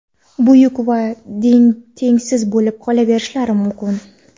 buyuk va tengsiz bo‘lib qolaverishlari mumkin.